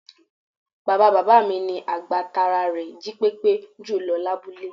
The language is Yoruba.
Bàbáa bàbá mi ni àgbà tára rè jípépé jùlọ lábúlé